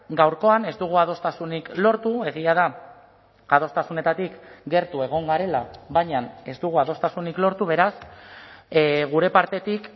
gaurkoan ez dugu adostasunik lortu egia da adostasunetatik gertu egon garela baina ez dugu adostasunik lortu beraz gure partetik